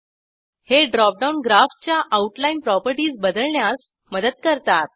हे drop down ग्राफच्या outline properties बदलण्यास मदत करतात